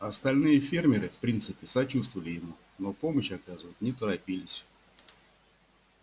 остальные фермеры в принципе сочувствовали ему но помощь оказывать не торопились